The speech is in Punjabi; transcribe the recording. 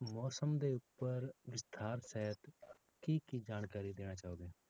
ਮੌਸਮ ਦੇ ਉੱਪਰ ਵਿਸਥਾਰ ਸਹਿਤ ਕੀ ਕੀ ਜਾਣਕਾਰੀ ਦੇਣਾ ਚਾਹੋਗੇ।